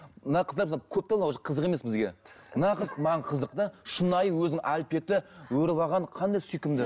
мына қыздар мысалы көп те уже қызық емес бізге мына қыз маған қызық та шынайы өзінің әлпеті өріп алған қандай сүйкімді